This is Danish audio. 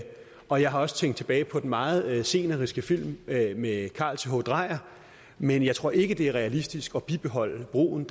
og jeg har også tænkt tilbage på den meget sceniske film af carl th dreyer men jeg tror ikke det er realistisk at bibeholde broen